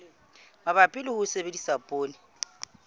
mabapi le ho sebedisa poone